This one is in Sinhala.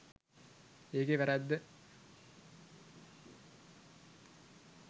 ඒකේ වැරැද්ද.